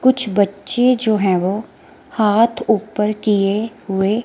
कुछ बच्चे जो है वो हाथ ऊपर किए हुए--